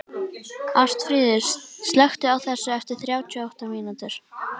Ásfríður, slökktu á þessu eftir þrjátíu og átta mínútur.